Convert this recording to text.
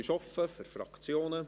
Das Wort ist offen für Fraktionen.